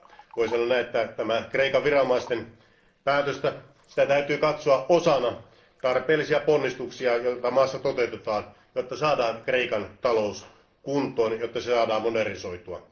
Voi sanoa näin, että tätä Kreikan viranomaisten päätöstä, sitä täytyy katsoa osana tarpeellisia ponnistuksia, joita maassa toteutetaan, jotta saadaan Kreikan talous kuntoon ja jotta se saadaan modernisoitua.